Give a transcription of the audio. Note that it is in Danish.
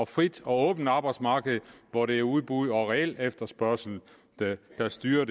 frit og åbent arbejdsmarkedet hvor det er udbud og reel efterspørgsel der styrer